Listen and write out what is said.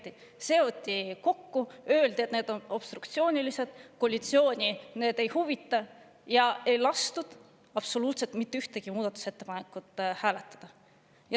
seoti kokku ja öeldi, et need on obstruktsioonilised, koalitsiooni need ei huvita, ja mitte ühtegi muudatusettepanekut ei lastud hääletada.